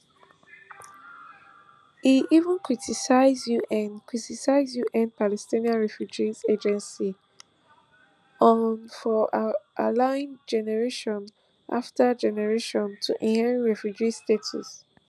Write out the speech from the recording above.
e even criticises un criticises un palestinian refugee agency unrwa for allowing generation afta generation to inherit refugee status